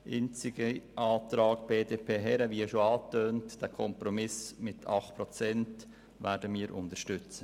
Einzig den Antrag BDP/Herren, den Kompromiss mit den 8 Prozent, werden wir unterstützen.